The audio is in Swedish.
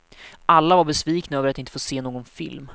Alla var besvikna över att inte få se någon film.